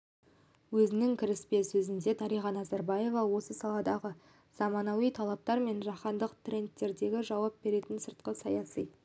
өзінің кіріспе сөзінде дариға назарбаева осы саладағы заманауи талаптар мен жаһандық трендтерге жауап беретін сыртқы саяси